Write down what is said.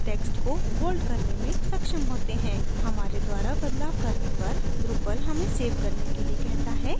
हमारे द्वारा बदलाव करने पर drupal हमें सेव करने के लिए कहता है node को अपडेट करने के लिए save पर click करें